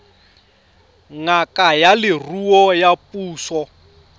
ngaka ya leruo ya puso